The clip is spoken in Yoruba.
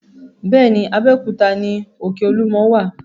Bẹ́ẹ̀ ni, Abéòkúta ni òkè Olúmọ wà.